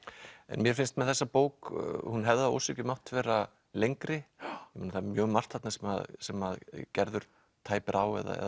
mér finnst með þessa bók hún hefði að ósekju mátt vera lengri það er mjög margt þarna sem sem Gerður tæpir á eða